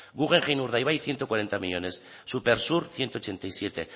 guggenheim urdaibai ciento cuarenta millónes supersur ciento ochenta y siete